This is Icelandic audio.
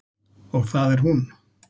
Og það er hún.